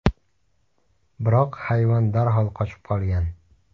Biroq hayvon darhol qochib qolgan.